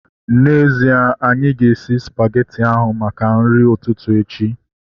N'ezie, anyị ga-esi spageti ahu maka nri ụtụtụ echi